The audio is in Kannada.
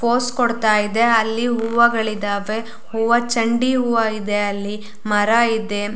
ಪೋಸ್ ಕೊಡತ್ತಾ ಇದೆ ಅಲ್ಲಿ ಹೂವಾಗಳಿದವೆ ಹೂವಾ ಚಂಡಿ ಹೂವಾ ಇದೆ ಅಲ್ಲಿ ಮರ ಇದೆ.